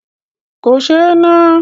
Kò sé e ná.